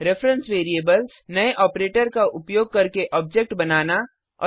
reference variables नये operator का उपयोग करके ऑब्जेक्ट बनाना